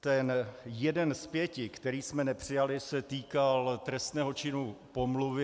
Ten jeden z pěti, který jsme nepřijali, se týkal trestného činu pomluvy.